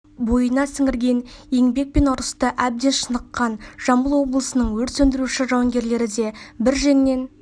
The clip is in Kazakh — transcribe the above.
бойына сіңірген еңбек пен ұрыста әбден шыныққан жамбыл облысының өрт сөндіруші жауынгерлері де бір жеңнен